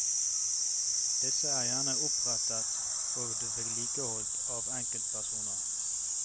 Disse er gjerne opprettet og vedlikeholdt av enkeltpersoner.